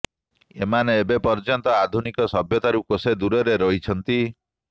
ଏମାନେ ଏବେ ପର୍ଯ୍ଯନ୍ତ ଆଧୁନିକ ସଭ୍ୟତାରୁ କୋଷେ ଦୂରରେ ରହିଛନ୍ତି